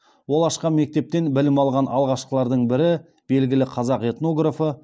ол ашқан мектептен білім алған алғашқылардың бірі белгілі қазақ этнографы